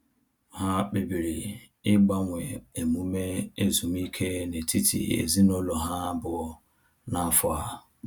Ha kpebiri ịgbanwe emume ezumike n’etiti ezinụlọ ha abụọ n’afọ a.